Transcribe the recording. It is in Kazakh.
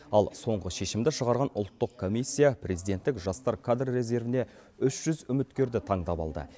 ал соңғы шешімді шығарған ұлттық комиссия президенттік жастар кадр резервіне үш жүз үміткерді таңдап алды